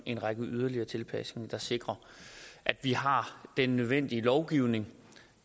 en række yderligere tilpasninger der sikrer at vi har den nødvendige lovgivning